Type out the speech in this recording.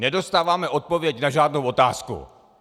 Nedostáváme odpověď na žádnou otázku!